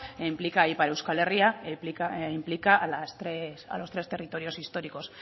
e implica a ipar euskal herria e implica a los tres territorios históricos